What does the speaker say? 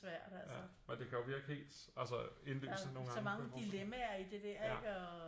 Ja og det kan jo virke helt altså indlysende nogle gange kan jeg forestille mig